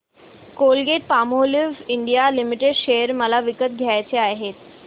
Colgate Palmolive India limited share मला विकत घ्यायचे आहेत